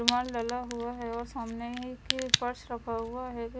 सामान डाला हुआ है और सामने एक फर्श रखा हुआ है।